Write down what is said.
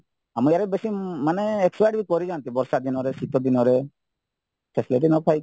ଆମ ଇଆଡ଼େ ବେଶୀ ମାନେ expired କରିଯାନ୍ତି ବର୍ଷା ଦିନରେ ଶୀତ ଦିନରେ facilityନ ପାଇକି